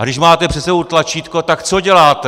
A když máte před sebou tlačítko, tak co děláte?